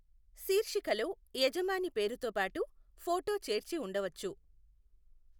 శీర్షికలో యజమాని పేరుతోబాటు ఫొటో చేర్చి ఉండవచ్చు.